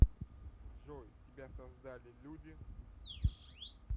джой тебя создали люди